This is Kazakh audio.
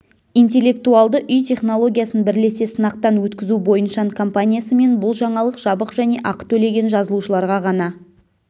интеллектуалды үй технологиясын бірлесе сынақтан өткізу бойыншан компаниясымен бұл жаңалық жабық және ақы төлеген жазылушыларға ғана